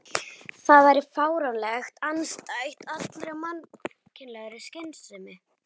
Það væri fáránlegt, andstætt allri mannlegri skynsemi.